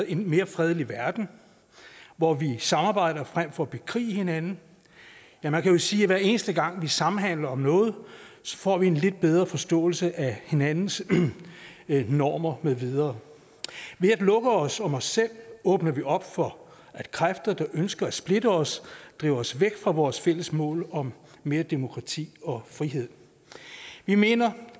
en mere fredelig verden hvor vi samarbejder frem for at bekrige hinanden ja man kan vel sige at hver eneste gang vi samhandler om noget får vi en lidt bedre forståelse af hinandens normer med videre ved at lukke os om os selv åbner vi op for at kræfter der ønsker at splitte os driver os væk fra vores fælles mål om mere demokrati og frihed vi mener